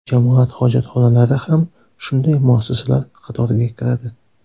Jamoat hojatxonalari ham shunday muassasalar qatoriga kiradi.